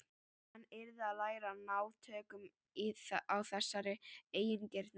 Hann yrði að læra að ná tökum á þessari eigingirni.